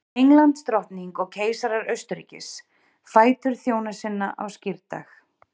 Englandsdrottning og keisarar Austurríkis, fætur þjóna sinna á skírdag.